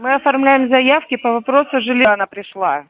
мы оформляем заявки по вопросу жилья она пришла